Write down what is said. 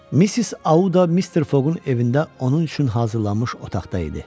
Missis Audda Mister Fogun evində onun üçün hazırlanmış otaqda idi.